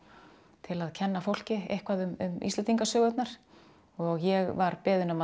til að kenna fólki eitthvað um Íslendingasögurnar og ég var beðin um að